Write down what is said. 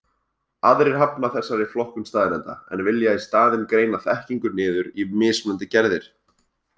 Aðrir hafna þessari flokkun staðreynda, en vilja í staðinn greina þekkingu niður í mismunandi gerðir.